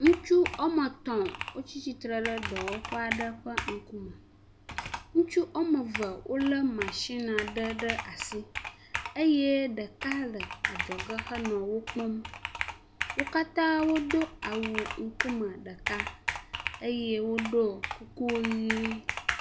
Ŋutsu woame etɔ̃ wotsi tsitre ɖe dɔwɔƒe aɖe ƒe ŋkume. Ŋutsu woame eve wolé matsin aɖe ɖe asi eye ɖeka le adzɔge hele wo kpɔm. Wo katã wodo awu ŋkume ɖeka eye woɖɔ kuku ʋɛ̃.